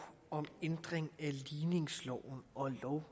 om ændring af ligningsloven og lov